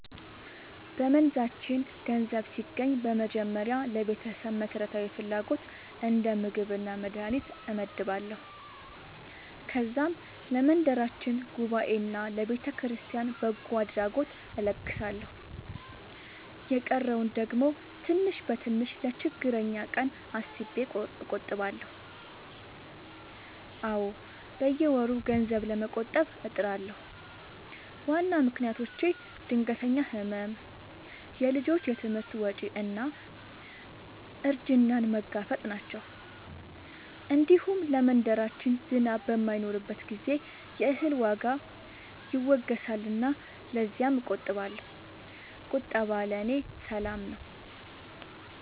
በመንዛችን ገንዘብ ሲገባኝ በመጀመሪያ ለቤተሰብ መሠረታዊ ፍላጎት እንደ ምግብና መድሀኒት እመድባለሁ። ከዛም ለመንደራችን ጉባኤና ለቤተክርስቲያን በጎ አድራጎት እለግሳለሁ። የቀረውን ደግሞ ትንሽ በትንሽ ለችግረኛ ቀን አስቤ እቆጥባለሁ። አዎ፣ በየወሩ ገንዘብ ለመቆጠብ እጥራለሁ። ዋና ምክንያቶቼ ድንገተኛ ሕመም፣ የልጆች ትምህርት ወጪ እና እርጅናን መጋፈጥ ናቸው። እንዲሁም ለመንደራችን ዝናብ በማይኖርበት ጊዜ የእህል ዋጋ ይወገሳልና ለዚያም እቆጥባለሁ። ቁጠባ ለእኔ ሰላም ነው።